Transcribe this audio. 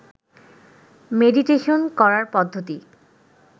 meditation করার পদ্ধতি